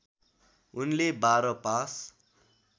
उनले १२ पास